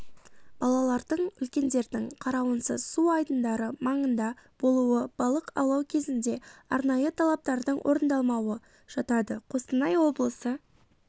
балалардың үлкендердің қарауынсыз су айдындары маңында болуы балық аулау кезінде арнайы талаптардың орындалмауы жатады қостанай облысы